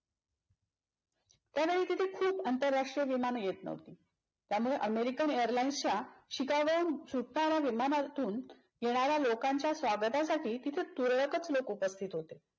खूप आंतरराष्ट्रीय विमान येत न्हवती. त्यामुळे अमेरिकन AIRLINES च्या शिकागोहून सुटणाऱ्या विमानातून येणाऱ्या लोकांच्या स्वागतासाठी तिथे तुरळकच लोक उपस्थित होते.